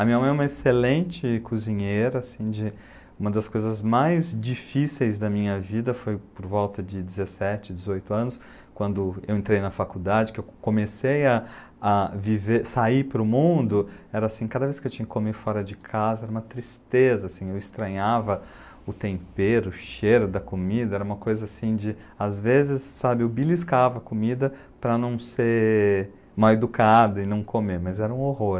A minha mãe é uma excelente cozinheira, assim de, uma das coisas mais difíceis da minha vida foi por volta de dezessete, dezoito anos, quando eu entrei na faculdade, que eu comecei a, a viver, sair para o mundo, era assim, cada vez que eu tinha que comer fora de casa, era uma tristeza, eu estranhava o tempero, o cheiro da comida, era uma coisa assim de, às vezes, sabe, eu beliscava a comida para não ser mal educado e não comer, mas era um horror.